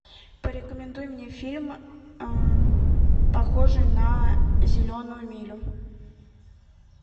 порекомендуй мне фильм похожий на зеленую милю